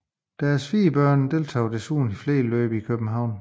Deres fire børn deltog desuden i flere løb i København